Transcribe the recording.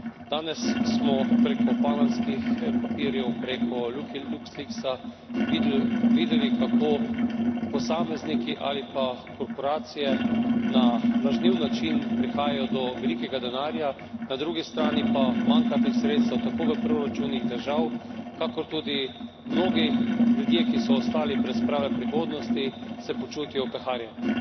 Danes smo preko panamskih papirjev, preko Luxleaksa videli, kako posamezniki ali pa korporacije na lažniv način prihajajo do velikega denarja, na drugi strani pa manjka teh sredstev tako v proračunih držav, kakor tudi mnogi ljudje, ki so ostali brez prave prihodnosti, se počutijo opeharjene.